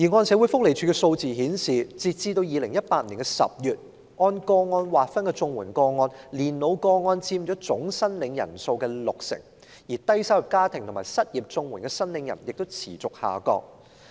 社會福利署的數字顯示，截至2018年10月，在按個案類別劃分的綜援個案中，年老個案佔總申領人數六成，而低收入家庭及失業綜援申領人的數目亦持續下降。